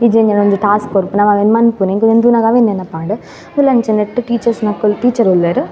ಇಜ್ಜಿಂಡ ಒಂಜಿ ಟಾಸ್ಕ್ ಕೊರ್ಪುನ ನಮ ಅವೆನ್ ಮನ್ಪುನ ಎಂಕ್ ಉಂದ್ ತೂನಗ ಅವ್ವೆ ನೆನಪಾಂಡ್ ಉಂದುಲ ಅಂಚನೆ ನೆಟ್ಟ್ ಟೀಚರ್ಸ್ ನಕುಲು ಟೀಚರ್ ಉಲ್ಲೆರ್.